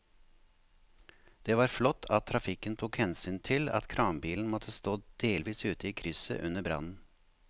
Det var flott at trafikken tok hensyn til at kranbilen måtte stå delvis ute i krysset under brannen.